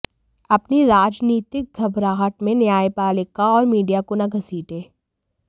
अपनी राजनीतिक घबराहट में न्यायपालिका और मीडिया को न घसीटें